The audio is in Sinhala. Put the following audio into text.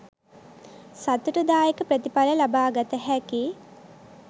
සතුටුදායක ප්‍රතිඵල ලබාගත හැකි